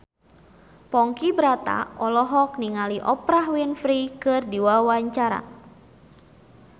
Ponky Brata olohok ningali Oprah Winfrey keur diwawancara